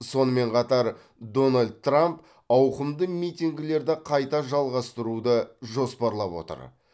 сонымен қатар дональд трамп ауқымды митингілерді қайта жалғастыруды жоспарлап отыр